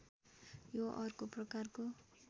यो अर्को प्रकारको